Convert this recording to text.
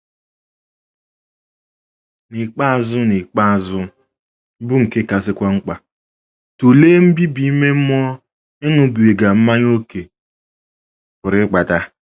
N’ikpeazụ N’ikpeazụ, bụ́ nke kasịkwa mkpa, tụlee mbibi ime mmụọ ịṅụbiga mmanya ókè pụrụ ịkpata.